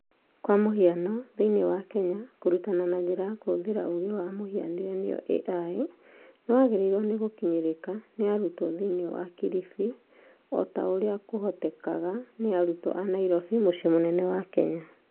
kwa mũhiano, thĩiniĩ wa kenya, kũrutana na njĩra ya kũhũthĩra ũũgĩ wa mũhianĩre (AI) nĩwagĩrĩirũo nĩ gũkinyĩrĩka nĩ arutwo thĩiniĩ wa kilifi o ta ũrĩa kũhotekaga nĩ arutwo a Nairobi, mũciĩ mũnene wa Kenya.